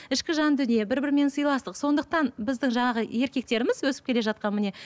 ішкі жан дүние бір бірімен сылайстық сондықтан біздің жаңағы еркектеріміз өсіп келе жатқан міне